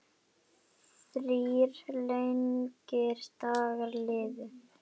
Þrír langir dagar liðu.